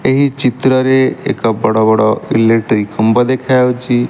ଏହି ଚିତ୍ରରେ ଏକ ବଡ଼ ବଡ଼ ଇଲେକ୍ଟ୍ରୀ ଖୁମ୍ବ ଦେଖାଯାଉଛି।